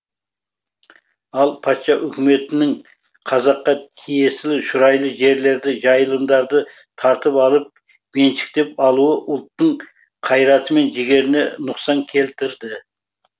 ал патша үкіметінің қазаққа тиесілі шұрайлы жерлерді жайылымдарды тартып алып меншіктеніп алуы ұлттың қайраты мен жігеріне нұқсан келтірді